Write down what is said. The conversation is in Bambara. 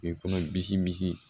I kɔnɔ bisi bi